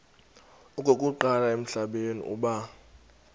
okokuqala emhlabeni uba